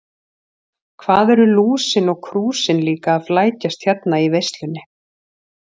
Hvað eru Lúsin og Krúsin líka að flækjast hérna í veislunni.